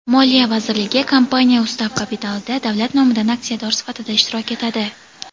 Moliya vazirligi kompaniya ustav kapitalida davlat nomidan aksiyador sifatida ishtirok etadi.